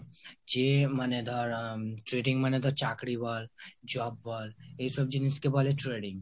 যে মানে ধর trading মানে ধর চাকরি বল, job বল, এসব জিনিস কে বলে trading